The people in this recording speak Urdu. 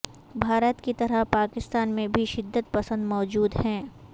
بھارت کی طرح پاکستان میں بھی شدت پسند موجود ہیں